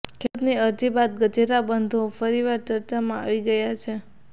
ખેડૂતની અરજી બાદ ગજેરા બંધુઓ ફરીવાર ચર્ચામાં આવી ગયા છે